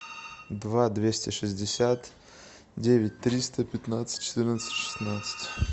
два двести шестьдесят девять триста пятнадцать четырнадцать шестнадцать